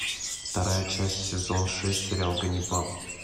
вторая часть сезон шесть сериал ганнибал